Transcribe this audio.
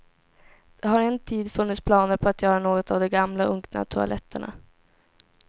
Det har en tid funnits planer på att göra något av de gamla unkna toaletterna.